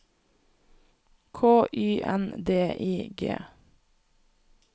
K Y N D I G